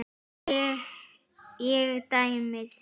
Ég tæmist.